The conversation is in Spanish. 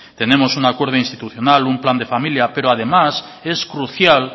tenemos un acuerdo institucional un plan de familia pero además es crucial